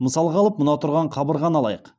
мысалға алып мына тұрған қабырғаны алайық